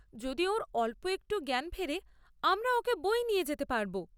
যদি ওঁর অল্প একটুও জ্ঞান ফেরে, আমরা ওঁকে বয়ে নিয়ে যেতে পারব।